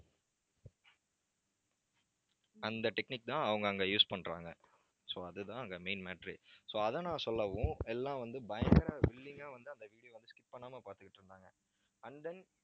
அந்த technique தான் அவங்க அங்க use பண்றாங்க. so அதுதான் அங்க main matter ஏ so அதை நான் சொல்லவும் எல்லாம் வந்து, பயங்கர willing அ வந்து, அந்த video skip பண்ணாம பார்த்துக்கிட்டு இருந்தாங்க and then